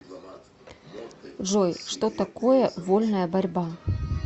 джой что такое вольная борьба